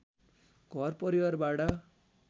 घर परिवारबाट